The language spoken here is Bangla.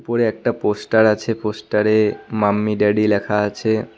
উপরে একটা পোস্টার আছে পোস্টারে মাম্মি ড্যাডি লেখা আছে।